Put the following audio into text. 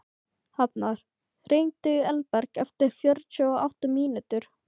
Hafnar, hringdu í Elberg eftir fjörutíu og átta mínútur.